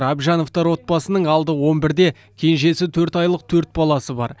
әбжановтар отбасысының алды он бірде кенжесі төрт айлық төрт баласы бар